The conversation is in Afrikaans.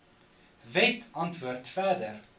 wet antwoord verder